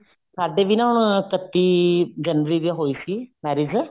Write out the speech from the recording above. ਸਾਡੇ ਵੀ ਨਾ ਹੁਣ ਇੱਕਤੀ ਜਨਵਰੀ ਨੂੰ ਹੋਈ ਸੀ marriage